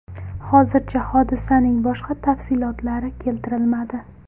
Hozircha hodisaning boshqa tafsilotlar keltirilmadi.